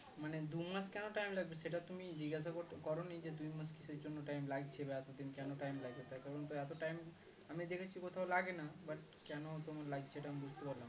মানে দুমাস কেন time লাগবে সেটা তুমি জিজ্ঞাসা করতে করোনি যে তুমি কিসের জন্য time লাগছে বা এতদিন কেন time লাগবে তার কারণ তো এত time আমি দেখেছি কোথাও লাগেনা but কেন তোমার লাগছে এটা আমি বুঝতে পারলাম না